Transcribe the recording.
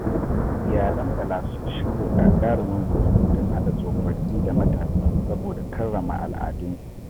Iyalan Bala sun shirya gagarumin biki don haɗa tsofaffi da matasa saboda karrama al’adunsu.